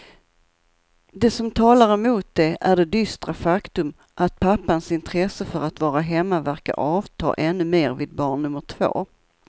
Det som talar emot det är det dystra faktum att pappans intresse för att vara hemma verkar avta ännu mer vid barn nummer två.